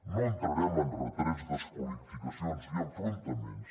no entrarem en retrets desqualificacions i enfrontaments